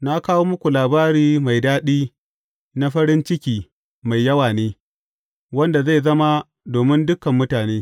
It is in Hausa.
Na kawo muku labari mai daɗi na farin ciki mai yawa ne wanda zai zama domin dukan mutane.